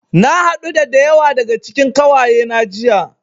Na haɗu da da yawa daga cikin ƙawayena jiya.